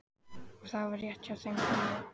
Og það var rétt hjá þeim gamla.